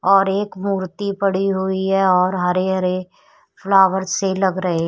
और एक मूर्ति पड़ी हुई है और हरे हरे फ्लावर से लग रहे--